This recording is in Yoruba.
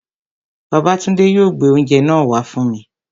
Babátúndé yóò gbé oúnjẹ náà wá fún mi